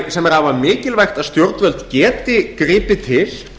sem er afar mikilvægt að stjórnvöld geti gripið til